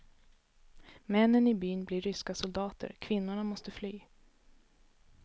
Männen i byn blir ryska soldater, kvinnorna måste fly.